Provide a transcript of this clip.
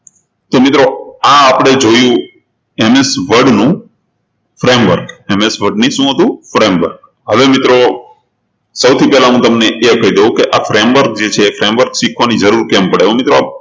તો મિત્રો આ આપણે જોયું MS Word નું frameworkMSword ની શું હતું framework હવે મિત્રો સૌથી પહેલા હું તમને કહી દઉં કે આ framework જે છે એ શીખવાની જરૂર કેમ પડે તો મિત્રો